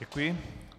Děkuji.